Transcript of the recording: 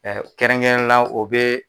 Ɛ kɛrɛnkɛrɛnnen la o bɛ.